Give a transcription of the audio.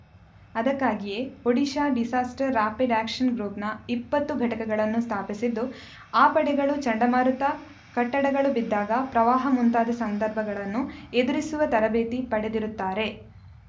ಅದಕ್ಕಾಗಿಯೇ Odisha disaster rapid action ಗ್ರೂಪ್‌ನ ಇಪ್ಪತ್ತು ಘಟಕಗಳನ್ನು ಸ್ಥಾಪಿಸಿದ್ದು ಆ ಪಡೆಗಳು ಚಂಡಮಾರುತ ಕಟ್ಟಡಗಳು ಬಿದ್ದಾಗ ಪ್ರವಾಹ ಮುಂತಾದ ಸಂದರ್ಭಗಳನ್ನು ಎದುರಿಸುವ ತರಬೇತಿ ಪಡೆದಿರುತ್ತಾರೆ